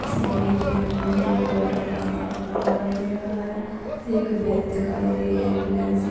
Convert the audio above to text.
इस इमेज मे मुझे एक पेट्रोल पंप का खंभा दिखाई दे रहा हैं एक वैन दिखाई एम्बुलेंस --